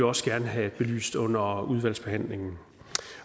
også gerne have belyst under udvalgsbehandlingen